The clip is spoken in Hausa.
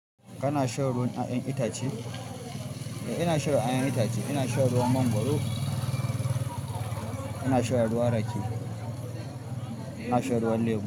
Kana shan ruwan 'ya'yan itace? Eh, ina sha ruwan 'ya'yan itace. Ina shan ruwan mangwaro, ina shan ruwan rake, ina shan ruwan lemo.